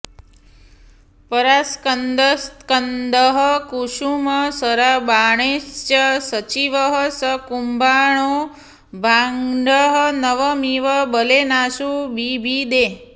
परास्कन्दत्स्कन्दः कुसुमशरबाणैश्च सचिवः स कुम्भाण्डो भाण्डं नवमिव बलेनाशु बिभिदे